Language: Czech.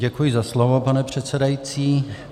Děkuji za slovo, pane předsedající.